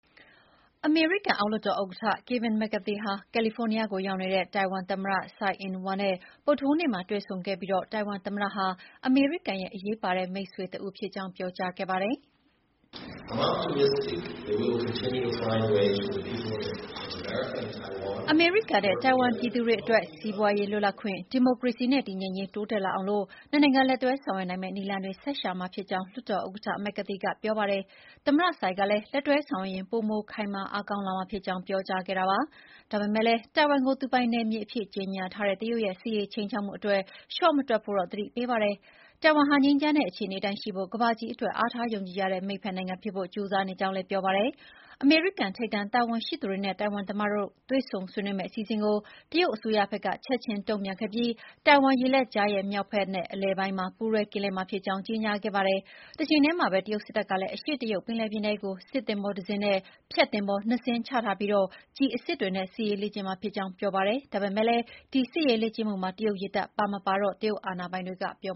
အမေရိကန်အောက်လွှတ်တော်ဥက္ကဋ္ဌ ကယ်ဗင် မက်ကာသီဟာ ကယ်လီဖိုးနီးယားကို ရောက်နေတဲ့ ထိုင်ဝမ်သမ္မတ ဆိုင်အင်းဝမ် နဲ့ ဗုဒ္ဓဟူးနေ့မှာ တွေ့ဆုံခဲ့ပြီး ထိုင်ဝမ်သမ္မတဟာ အမေရိကန်ရဲ့ အရေးပါတဲ့မိတ်ဆွေတဦးဖြစ်ကြောင်း ပြောကြားခဲ့ ပါတယ်။ အမေရိကန်နဲ့ထိုင်ဝမ်ပြည်သူတွေအတွက် စီးပွါးရေးလွတ်လပ်ခွင့်၊ ဒီမိုကရေစီနဲ့ တည်ငြိမ်ရေး တိုးတက်လာအောင် ၂ နိုင်ငံ လက်တွဲဆောင်ရွက်နိုင်မယ့်နည်းလမ်းတွေ ဆက်ရှာမှာဖြစ်ကြောင်း လွှတ်တော်ဥက္ကဋ္ဌက McCarthy က ပြောပါတယ်။ သမ္မတ Tsai ကလည်း လက်တွဲဆောင်ရွက်ရင် ပိုမိုအင်အားခိုင်မာလာမှာဖြစ်ကြောင်း ပြောကြားခဲ့တာပါ။ ဒါပေမယ့် တိုင်ဝမ်ကို သူပိုင်နယ်မြေအဖြစ်ကြေညာထားတဲ့ တရုတ်ရဲ့ စစ်ရေးခြိမ်းခြောက်မှုတွေအတွက် လျှော့မတွက်ဖို့တော့ သတိပေးပါတယ်။ ထိုင်ထိုင်ဝမ်ဟာ ငြိမ်းချမ်းတဲ့အခြေနေအတိုင်းရှိဖို့နဲ့ ကမ္ဘာကြီးအတွက် အားထားယုံကြည်ရတဲ့ မိတ်ဖက်နိုင်ငံဖြစ်ဖို့ ကြိုးစားနေကြောင်းလည်း ပြောပါတယ်။ အမေရိကန်ထိပ်တန်းတာဝန်ရှိသူတွေနဲ့ တိုင်ဝမ်သမ္မတတို့ တွေ့ဆုံဆွေးနွေးမယ့် အစီအစဉ်ကို တရုတ်အစိုးရဘက်ကလည်း ချက်ချင်းတုံ့ပြန်ခဲ့ပြီး ထိုင်ဝမ်ရေလက်ကြားရဲ့ မြောက်ဖက်- အလယ်ပိုင်းမှာ ပူးတွဲကင်းလှည့်မှာ ဖြစ်ကြောင်း ကြေညာခဲ့ပါတယ်။ တချိန်တည်းမှာပဲ တရုတ်စစ်တပ်ကလည်း အရှေ့တရုတ်ပင်လယ်ပြင်ထဲကို စစ်သင်္ဘောတစင်းနဲ့ ဖျက်သင်္ဘော ၂ စင်းချထားပြီး ကျည်အစစ်တွေနဲ့ စစ်ရေးလေ့ကျင့်မှာ ဖြစ်ကြောင်း ပြောပါတယ်။ ဒါပေမယ့် ဒီစစ်ရေးလေ့ကျင့်မှုမှာ တရုတ်ရေတပ်ပါမပါတော့ တရုတ်အာဏာပိုင်တွေကမပြော